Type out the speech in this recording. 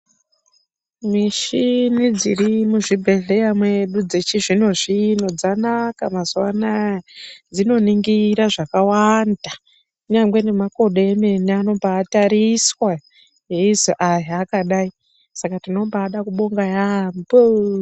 Mishini dziri muzvibhedhleya medu, dzechizvino zvino dzanaka mazuwa anaa dzinoningira zvakawanda, kunyangwe nemakodo emene anobaatariswa eizi aya akadai, saka tinobaada kubonga yaambho.